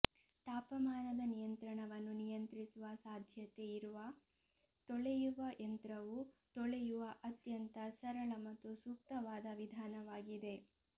ತಾಪಮಾನದ ನಿಯಂತ್ರಣವನ್ನು ನಿಯಂತ್ರಿಸುವ ಸಾಧ್ಯತೆ ಇರುವ ತೊಳೆಯುವ ಯಂತ್ರವು ತೊಳೆಯುವ ಅತ್ಯಂತ ಸರಳ ಮತ್ತು ಸೂಕ್ತವಾದ ವಿಧಾನವಾಗಿದೆ